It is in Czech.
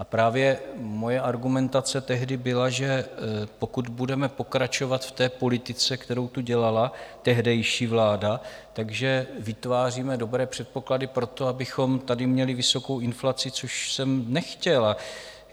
A právě moje argumentace tehdy byla, že pokud budeme pokračovat v té politice, kterou tu dělala tehdejší vláda, tak vytváříme dobré předpoklady pro to, abychom tady měli vysokou inflaci, což jsem nechtěl.